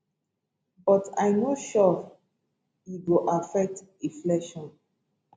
but i no sure e go affect inflation